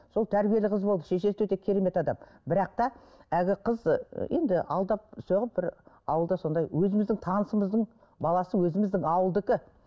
сол тәрбиелі қыз болды шешесі де өте керемет адам бірақ та әлгі қыз ы енді алдап соғып бір ауылда сондай өзіміздің танысымыздың баласы өзіміздің ауылдікі